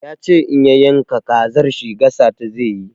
Ya ce in ya yanka kazar shi gasa ta zai yi.